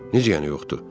Necə yəni yoxdur?